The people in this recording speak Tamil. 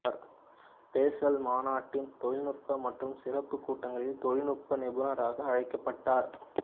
பேசல் மாநாட்டின் தொழில்நுட்ப மற்றும் சிறப்பு கூட்டங்களில் தொழில்நுட்ப நிபுணராக அழைக்கப்பட்டார்